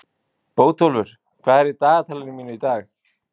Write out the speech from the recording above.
Bótólfur, hvað er í dagatalinu mínu í dag?